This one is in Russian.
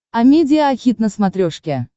амедиа хит на смотрешке